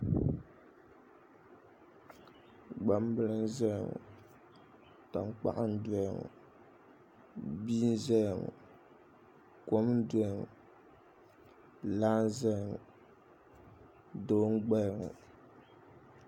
Gbambili n ʒɛya ŋo tankpaɣu n doya ŋo bia n ʒɛya ŋo kom n doya ŋo laa n ʒɛya ŋo doo n gbaya ŋo